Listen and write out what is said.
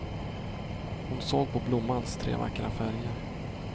Hon såg på blommans tre vackra färger.